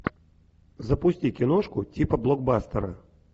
запусти киношку типа блокбастера